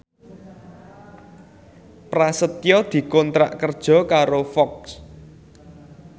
Prasetyo dikontrak kerja karo Fox